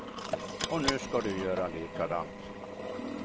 Och nu ska du göra likadant.